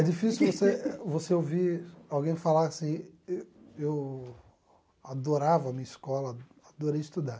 É difícil você você ouvir alguém falar assim... E eu adorava a minha escola, adorei estudar.